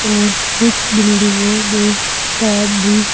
और कुछ बिल्डिंगों में काम भी--